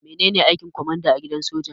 Maye aikin kwamanda a gidan soja?